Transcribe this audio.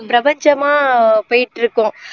பிரபஞ்சமா போய்ட்டுருக்கும்